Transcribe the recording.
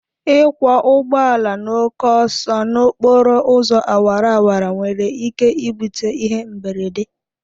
Ịkwọ ụgbọala n'oke ọsọ n'okporo ụzọ awara awara nwere ike bute ịhe mberede